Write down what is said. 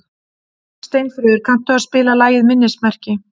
Steinfríður, kanntu að spila lagið „Minnismerki“?